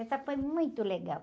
Essa foi muito legal.